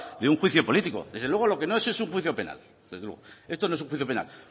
de un juicio político desde luego lo que no es es un juicio penal desde luego esto no es un juicio penal